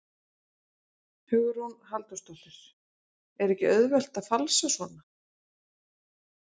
Hugrún Halldórsdóttir: Er ekki auðvelt að falsa svona?